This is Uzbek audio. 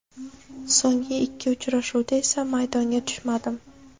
So‘ngi ikki uchrashuvda esa maydonga tushmadim.